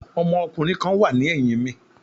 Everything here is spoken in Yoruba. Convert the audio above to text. Ọmọkùnrin kan wà ní ẹ̀yìn mi.